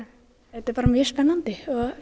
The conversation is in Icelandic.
þetta er bara mjög spennandi